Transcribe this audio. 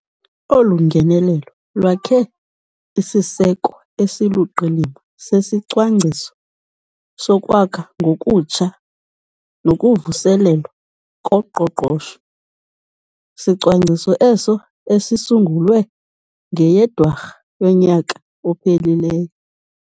Olu ngenelelo lwakhe isiseko esiluqilima seSicwangciso soKwakha ngoKutsha noKuvuselelwa koQoqosho. Sicwangciso eso esisungulwe ngeyeDwarha yonyaka ophelileyo.